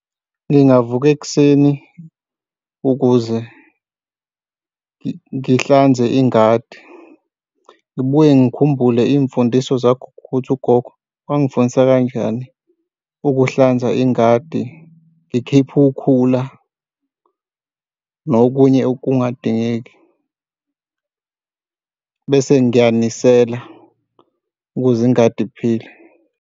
Ngingavuka ekuseni ukuze ngihlanze ingadi, ngibuye ngikhumbule iy'mfundiso zagogo ukuthi ugogo wangifundisa kanjani? Ukuhlanza ingadi ngikhiphe ukhula nokunye okungadingeki bese ngiyanisela ukuze ingadi iphile.